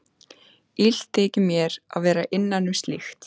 Illt þykir mér að vera innan um slíkt.